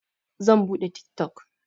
Zan buɗe tik tok.